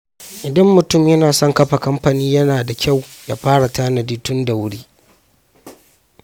Idan mutum yana son kafa kamfani, yana da kyau ya fara tanadi tun da wuri.